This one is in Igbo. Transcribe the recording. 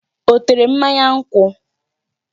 Ọ tere mmanya nkwụ?